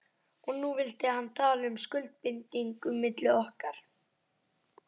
Og nú vildi hann tala um skuldbindingu milli okkar.